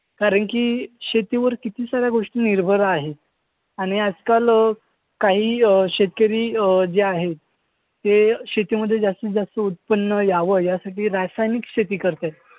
कारण की शेतीवर किती सार्‍या गोष्टी निर्भर आहे आणि आजकाल अं काही अं शेतकरी अं जे आहेत. ते शेती मध्ये जास्तीत जास्त उत्पन्न यावं यासाठी रसायनिक शेती करताहेत.